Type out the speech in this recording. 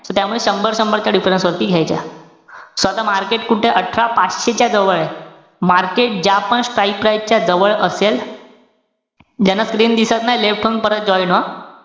So त्यामुळे शंभर-शंभर च्या difference वरती घ्यायच्या. So आता market कुठे? अठरा पाचशे च्या जवळे market ज्या पण strike price च्या जवळ असेल, ज्यांना screen दिसत नाई, left होऊन परत join व्हा.